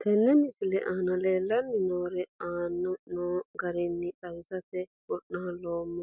Tene misile aana leelanni nooerre aane noo garinni xawisate wonaaleemmo.